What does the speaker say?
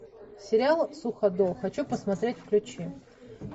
сериал суходол хочу посмотреть включи